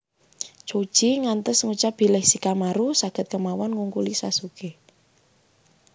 Chouji ngantos ngucap bilih Shikamaru saged kemawon ngungkuli Sasuké